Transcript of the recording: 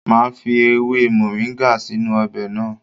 Màá fi ewe moringa sínú ọbẹ̀ náà.